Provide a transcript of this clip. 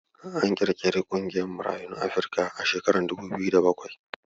An ƙirƙiri ƙungiyar Marayun Afrika a shekarar dubu biyu da bakwai.